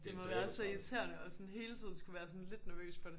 Det må være så irriterende at sådan hele tiden skulle være sådan lidt nervøs for det